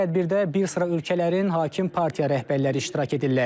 Tədbirdə bir sıra ölkələrin hakim partiya rəhbərləri iştirak edirlər.